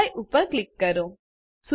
apply ઉપર click કરો